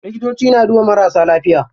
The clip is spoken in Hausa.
Likitoci na duba marasa lafiya.